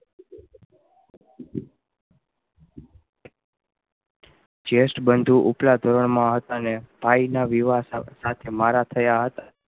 Chest બનતું ઉત્લા ધોરણ મા હતા ને ભાઈ ના વિવાહ સાથે મારા થયા હતા